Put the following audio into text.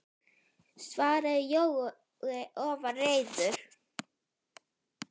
svaraði Jói og var reiður.